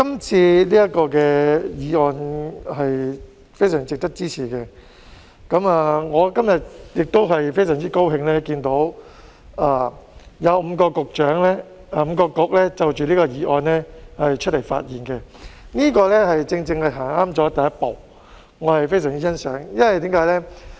這項議案非常值得支持，我今天亦非常高興看到有5個政策局的局長就着這項議案發言，正正踏出正確的第一步，我十分欣賞，為甚麼呢？